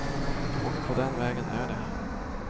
Och på den vägen är det.